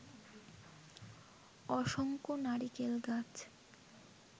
অসংখ্য নারিকেল গাছ